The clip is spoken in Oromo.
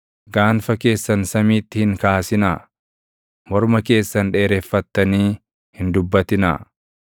Gaanfa keessan samiitti hin kaasinaa; morma keessan dheereffattanii hin dubbatinaa.’ ”